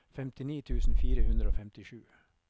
femtini tusen fire hundre og femtisju